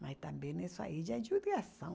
Mas também isso aí já é judiação